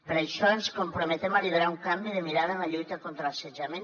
per això ens comprometem a liderar un canvi de mirada en la lluita contra l’assetjament